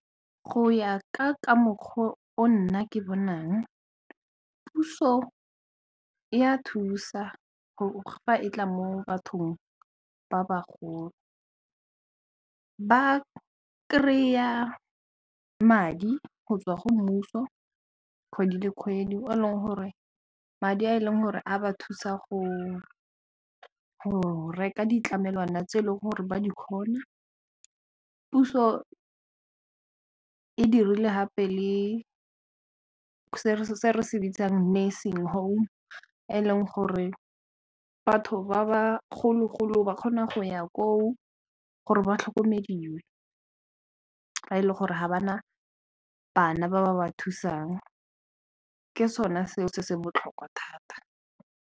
Go ya ka mokgwa o nna ke bonang puso ya thusa fa e tla mo bathong ba bagolo, ba kry-a madi go tswa go mmuso kgwedi le kgwedi madi a e leng gore a ba thusa go reka ditlamelwana tse e leng gore ba di kgona puso e dirile gape le se re se bitsang nursing home e eleng gore batho ba bagolo-golo ba kgona go ya koo gore ba tlhokomediwe ba e leng gore ga ba na bana ba ba ba thusang ka sone seo se se botlhokwa thata.